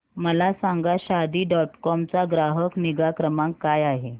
मला सांगा Shaadi dot com चा ग्राहक निगा क्रमांक काय आहे